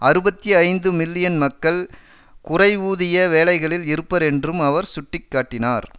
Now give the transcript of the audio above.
அறுபத்தி ஐந்து மில்லியன் மக்கள் குறைவூதிய வேலைகளில் இருப்பர் என்றும் அவர் சுட்டி காட்டினார்